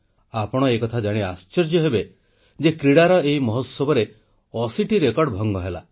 ଆପଣ ଏକଥା ଜାଣି ଆଶ୍ଚର୍ଯ୍ୟ ହେବେ ଯେ କ୍ରୀଡ଼ାର ଏହି ମହୋତ୍ସବରେ 80 ଟି ରେକର୍ଡ଼ ଭଙ୍ଗ ହେଲା